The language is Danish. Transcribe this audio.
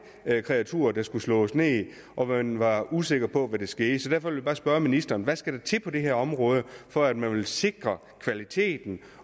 kreaturer der skulle slås ned og man var usikker på hvad der skete så derfor vil jeg bare spørge ministeren hvad skal der til på det her område for at man vil sikre kvaliteten